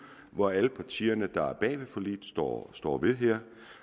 hvor alle partierne der er bag forliget står står ved det her